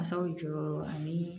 Masaw jɔyɔrɔ ani